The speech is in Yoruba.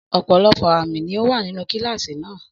Ọ̀pọ̀lọpọ̀ àmì ló wà nínú kíláàsì náà.